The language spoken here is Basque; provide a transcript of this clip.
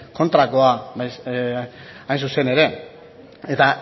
kontrakoa hain zuzen ere eta